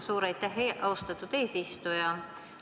Suur aitäh, austatud eesistuja!